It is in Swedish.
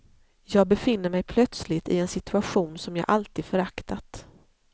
Jag befinner mig plötsligt i en situation som jag alltid föraktat.